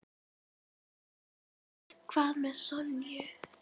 Hvað með Sonju?